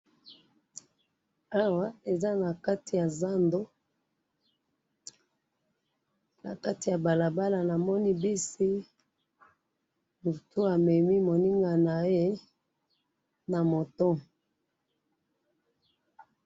Awa eza nakati yazando, nakati yabalabala namoni buss, mutu amemi moninga naye na moto.